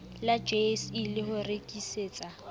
la jse le ho rekisetsa